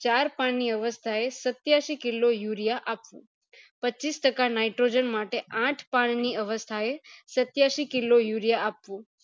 ચાર પણ ની અવસ્થા એ ચાર પણ ની અવસ્થા એ સત્યાસી kilo urea આપવું પચીસ ટકા nitrogen માટે આઠ પાન ની અવસ્થા એ સત્યાસી kilo urea આપવું